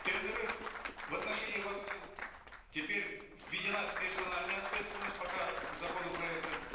тендеры в отношении вакцин теперь введена персональная ответственность пока законопроектом